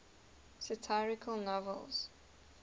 satirical novels